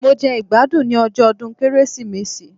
Mo jẹ ìgbádùn ní ọjọ́ ọdún Kérésìmesì